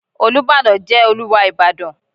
Olúbàdàn jẹ́ Olúwa Ìbàdàn.